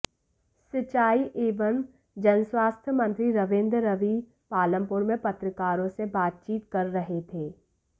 सिंचाई एवं जनस्वास्थय मंत्री रवीन्द्र रवि पालमपुर में पत्रकारों से बातचीत कर रहे थे